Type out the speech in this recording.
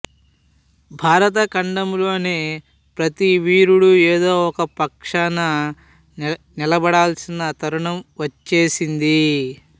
భరతఖండంలోని ప్రతి వీరుడు ఏదో ఒక పక్షాన నిలబడాల్సిన తరుణం వచ్చేసింది